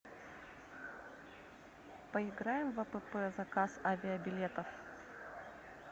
поиграем в апп заказ авибилетов